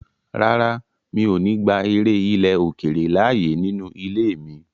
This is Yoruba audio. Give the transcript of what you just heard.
Rárá, mi ò ní gba eré ilè-òkèrè láyè nínú ilé mi.